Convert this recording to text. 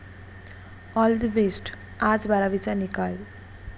All the best! आज बारावीचा निकाल